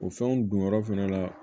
O fɛnw donyɔrɔ fɛnɛ la